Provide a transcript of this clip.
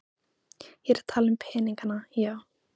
Ég er að tala um peningana, já.